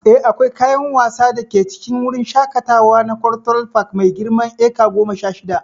Eh, akwai kayan wasa da ke cikin wurin shakatawa na Cultural Park mai girman eka goma sha shida.